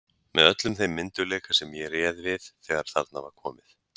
Með öllum þeim myndugleika sem ég réð við þegar þarna var komið.